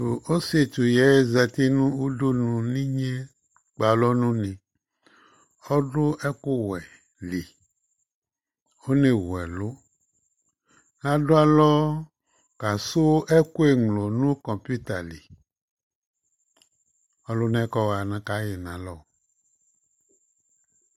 Ɔsɩetsu ƴɛ zati nʋ uɖunuli ƙpe alɔ nʋ une Ɔɖʋ ɛƙʋ wɛ li, one wu ɛlʋ Ta ɖʋ alɔ ƙa sʋ ɛƙʋ ŋlo nʋ ƙɔpɩta liƆlʋna ƴɛ ƙɔ ɣa ƙa ƴɩ nʋ alɔ